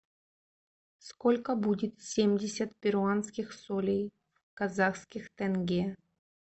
сколько будет семьдесят перуанских солей в казахских тенге